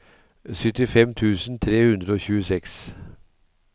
syttifem tusen tre hundre og tjueseks